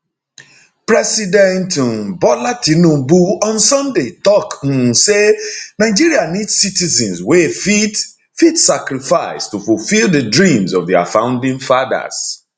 president um bola tinubu on sunday tok um say nigeria need citizens wey fit fit sacrifice to fulfil di dreams of dia founding fathers